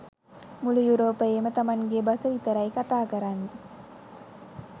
මුළු යුරෝපයේම තමන්ගෙ බස විතරයි කතා කරන්නෙ